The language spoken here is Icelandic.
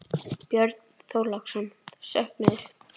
Björn Þorláksson: Söknuður?